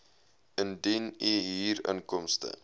indien u huurinkomste